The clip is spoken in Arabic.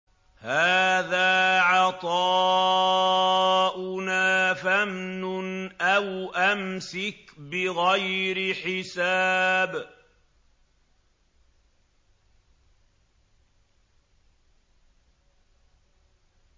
هَٰذَا عَطَاؤُنَا فَامْنُنْ أَوْ أَمْسِكْ بِغَيْرِ حِسَابٍ